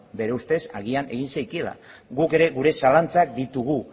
bere ustez agian egin zekiela guk ere gure zalantzak ditugu